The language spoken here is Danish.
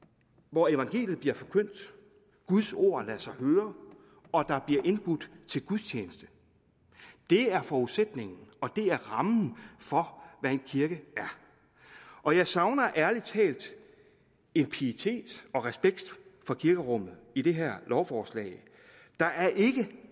hvor evangeliet bliver forkyndt guds ord lader sig høre og der bliver indbudt til gudstjeneste det er forudsætningen og det er rammen for hvad en kirke er og jeg savner ærlig talt en pietet og respekt for kirkerummet i det her lovforslag der er ikke